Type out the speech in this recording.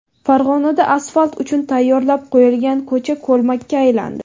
Farg‘onada asfalt uchun tayyorlab qo‘yilgan ko‘cha ko‘lmakka aylandi .